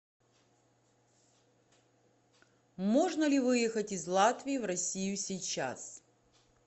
можно ли выехать из латвии в россию сейчас